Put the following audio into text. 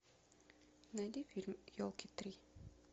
найди фильм елки три